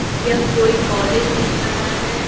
यह कोई कॉलेज दिख रहा है।